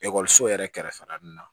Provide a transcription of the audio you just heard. Ekɔliso yɛrɛ kɛrɛfɛla ninnu na